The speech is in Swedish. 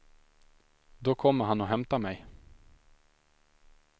Då kommer han och hämtar mig.